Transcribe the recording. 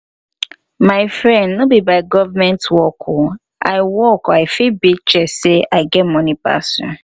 my friend no be by government work oo i work i fit beat chest say i get money pass you